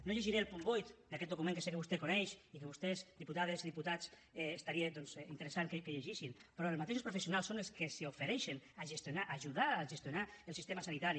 no llegiré el punt vuit d’aquest document que sé que vostè coneix i que vostès diputades i diputats seria interessant que llegissin però els mateixos professionals són els que s’ofereixen a gestionar a ajudar a gestionar el sistema sanitari